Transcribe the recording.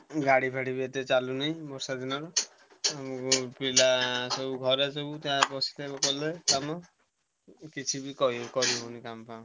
ଗାଡି ଫାଡି ବି ଏତେ ଚାଲୁନି ବର୍ଷା ଦିନ ପିଲା ସବୁ ଘରେ ବସିକି କଲେ କାମ କିଛି ବି କହି କରି ହଉନି କାମ ଫାମ।